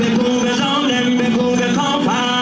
Bu qədər qəhrəman.